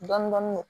Dɔɔnin dɔɔnin